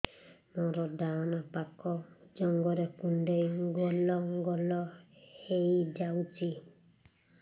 ମୋର ଡାହାଣ ପାଖ ଜଙ୍ଘରେ କୁଣ୍ଡେଇ ଗୋଲ ଗୋଲ ହେଇଯାଉଛି